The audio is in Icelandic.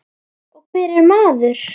Og hver er maður?